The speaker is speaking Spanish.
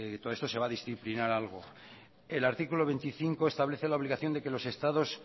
todo esto se va a disciplinar algo el artículo veinticinco establece la obligación de que los estados